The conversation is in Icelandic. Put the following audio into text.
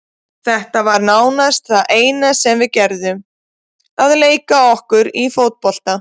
Þetta var nánast það eina sem við gerðum, að leika okkur í fótbolta.